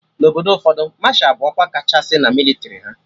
Na Obodo ụfọdụ, Masha bụ ọkwa kachasị na mịlịtrị ha